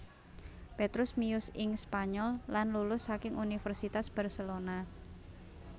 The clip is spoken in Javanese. Petrus miyos ing Spanyol lan lulus saking Universitas Barcelona